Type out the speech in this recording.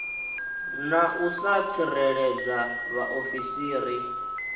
na u sa tsireledza vhaofisiri